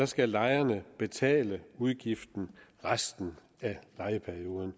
skal lejerne betale udgiften resten af lejeperioden og